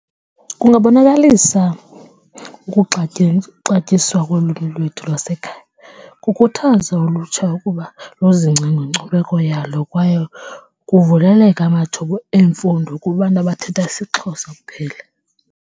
Kungabonakalisa ukuxatyiswa kolwimi lwethu lasekhaya, kukhuthaze ulutsha ukuba lizingce ngenkcubeko yalo kwaye kuvuleleke amathuba emfundo kubantu abathetha isiXhosa kuphela.